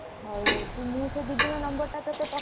ହଉ ହଉ ମୁଁ ସେ ଦିଦିଙ୍କ number ଟା ତତେ ପଠେଇଦଉଛି।